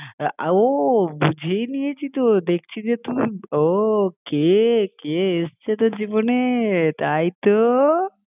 ও বুঝেই নিয়েছি তো দেখছি যে তুই ও কে কে এসেছে তোর জীবনে তাই তো আরে কেও আসেনি